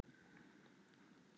Brynleifur, hvað er í matinn?